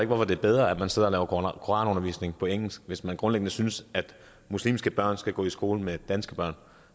hvorfor det er bedre at man sidder og laver koranundervisning på engelsk hvis man grundlæggende synes at muslimske børn skal gå i skole med danske børn